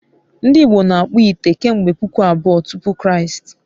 ndị Igbo n'akpu ite kemgbe puku abụọ tupu Kraịst